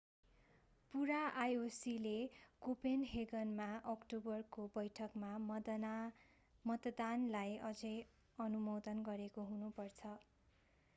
पूरा ioc ले कोपेनहेगनमा अक्टोबरको बैठकमा मतदानलाई अझै अनुमोदन गरेको हुनु पर्छ